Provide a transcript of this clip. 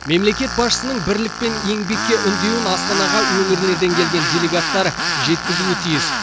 мемлекет басшысының бірлік пен еңбекке үндеуін астанаға өңірлерден келген делегаттар жеткізуі тиіс